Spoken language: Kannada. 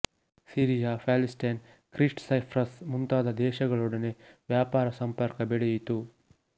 ಸಿರಿಯ ಪ್ಯಾಲಿಸ್ಟೈನ್ ಕ್ರೀಟ್ ಸೈಪ್ರಸ್ ಮುಂತಾದ ದೇಶಗಳೊಡನೆ ವ್ಯಾಪಾರ ಸಂಪರ್ಕ ಬೆಳೆಯಿತು